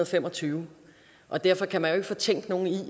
fem og tyve og derfor kan man jo ikke fortænke nogen i